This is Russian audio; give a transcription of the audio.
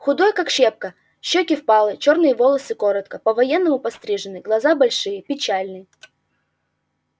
худой как щепка щёки впалые чёрные волосы коротко по-военному пострижены глаза большие печальные